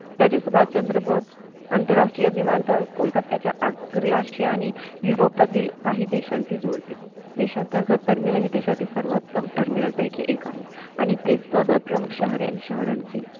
तरी सुभाषचंद्र बोस आंतरराष्ट्रीय विमानतळ कोलकत्ताच्या आगरी अश्यानी युरोपातील काही देशांशी जोडते देशांतर्गत हे देशातील सर्वोत्तम terminal पैकी एक आहे आणि ते सगळं प्रमुख शहर आणि शहरांशी